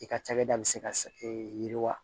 I ka cakɛda bɛ se ka e yiriwa